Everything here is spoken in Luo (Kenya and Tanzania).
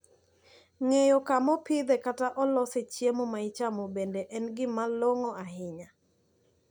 Ng`eyo kumaopidhe kata olose chiemo maichamo bende en gimalong`o ahinya.